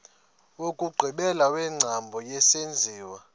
wokugqibela wengcambu yesenziwa